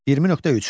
21.3.